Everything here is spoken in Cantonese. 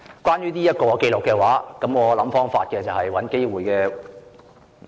關於這份紀錄，我會想方法或找機會......